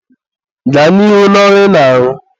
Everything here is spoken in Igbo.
gaa n'ihu n'ọrụ ị na-arụ.